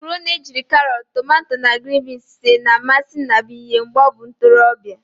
Makaroni ejiri karot, tomato na grin binz sie na-amasi Nnabuihe mgbe o bu ntorobia.